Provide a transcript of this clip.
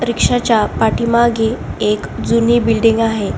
रिक्षा च्या पाठीमागे एक जुनी बिल्डिंग आहे.